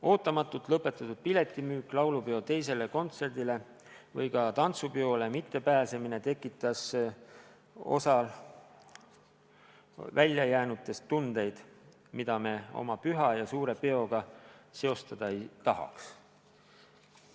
Ootamatult lõpetatud piletimüük laulupeo teisele kontserdile ja ka tantsupeole mittepääsemine tekitas osas väljajäänutes tundeid, mida me oma püha ja suure peoga seostada ei tahaks.